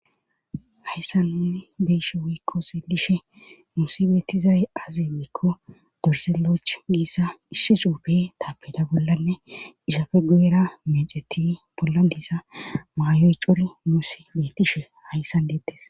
hayssan nuni beeshe wiikko seelishe nuusi beettizay azenekko dorseloch giissa ishshe xuufe taapeda bollanne isafe guera meceti bolla diza maayoy cori muusi bettishe hayssan deettes